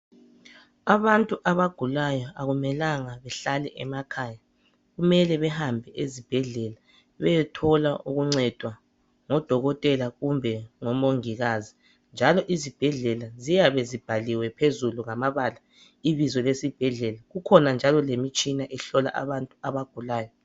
Abantu abagulayo akumelanga bahlale emekhaya kumele behambe ezibhedlela beyethola ukuncedwa ngodokotela kumbe omongikazi, njalo izibhedlela ziyabe zibhaliwe phezulu ngamabala ibizo lesibhedlela. Kukhona njalo lemitshina ehlola abantu abagulayo.